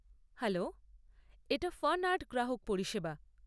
Hello, এটা fun art গ্রাহক পরিষেবা।